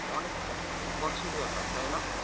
অনেক বছরের ব্যাপার তাইনা?